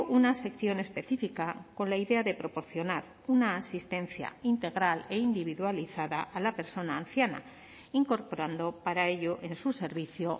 una sección específica con la idea de proporcionar una asistencia integral e individualizada a la persona anciana incorporando para ello en su servicio